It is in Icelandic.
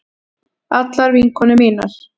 Allar vinkonur mínar.